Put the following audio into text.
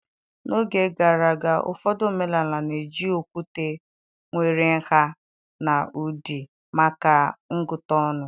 N'oge gara aga, ụfọdụ omenala na-eji okwute nwere nha na ụdị maka ịgụta ọnụ.